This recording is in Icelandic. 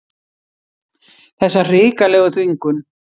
Þessa hrikalegu þvingun.